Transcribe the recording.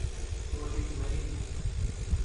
kosich werinnyi.